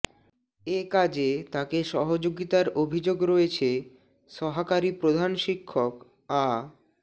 এ কাজে তাকে সহযোগিতার অভিযোগ রয়েছে সহাকারী প্রধান শিক্ষক আ